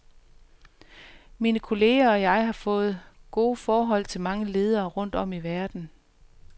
Mine kolleger og jeg har fået gode forhold til mange ledere rundt om i verden.